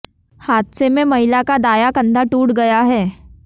हादसे में महिला का दायां कंधा टूट गया है